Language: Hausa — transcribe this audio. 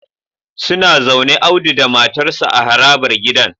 Suna zaune Audu da matarsa ​​a harabar gidan